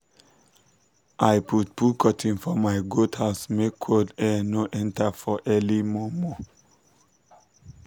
i put put curtin for my goat house make cold air no enter for early mor mor